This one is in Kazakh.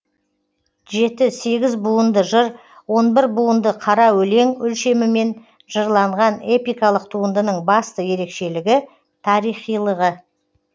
жеті сегіз буынды жыр он бір буынды қара өлең өлшемімен жырланған эпикалық туындының басты ерекшелігі тарихилығы